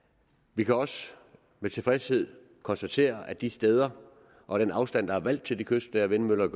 vi kan også med tilfredshed konstatere at de steder og den afstand der er valgt til de kystnære vindmøller